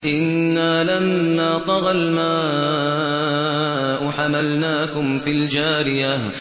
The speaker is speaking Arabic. إِنَّا لَمَّا طَغَى الْمَاءُ حَمَلْنَاكُمْ فِي الْجَارِيَةِ